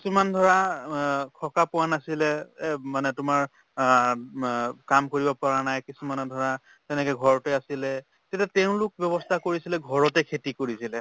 কিছুমান ধৰা সকাহ পোৱা নাছিলে এহ মানে তোমাৰ আহ মা কাম কৰিব পৰা নাই, মানে ধৰা তেনেকে ঘৰতে আছিলে। তেতিয়া তেওঁলোক ব্য়ৱস্থা কৰিছিলে ঘৰতে খেতি কৰিছিলে।